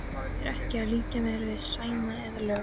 Ég er ekki að líkja mér við Sæma eða lögg